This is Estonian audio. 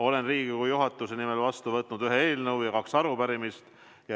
Olen Riigikogu juhatuse nimel vastu võtnud ühe eelnõu ja kaks arupärimist.